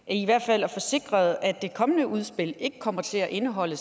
i hvert fald at få sikret at det kommende udspil ikke kommer til at indeholde